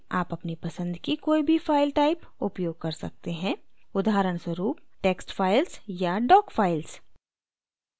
आप अपनी पसंद की कोई भी file type उपयोग कर सकते हैं उदाहरणस्वरूप: text files या doc files